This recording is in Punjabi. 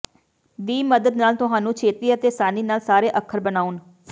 ਦੀ ਮਦਦ ਨਾਲ ਤੁਹਾਨੂੰ ਛੇਤੀ ਅਤੇ ਆਸਾਨੀ ਨਾਲ ਸਾਰੇ ਅੱਖਰ ਬਣਾਉਣ